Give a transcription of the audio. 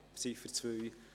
Ziffer 2: